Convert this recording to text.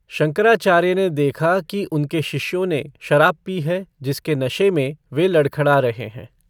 शंकराचार्य ने देखा कि उनके शिष्यों ने शराब पी है जिसके नशे में वे लडख़ड़ा रहे हैं।